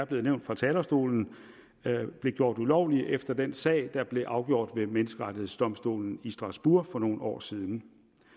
blev nævnt fra talerstolen blev gjort ulovlige efter den sag der blev afgjort ved menneskerettighedsdomstolen i strasbourg for nogle år siden